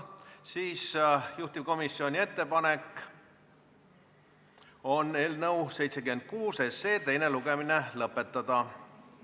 Juhtivkomisjoni ettepanek on eelnõu 76 teine lugemine lõpetada.